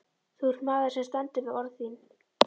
Þú ert maður sem stendur við orð þín.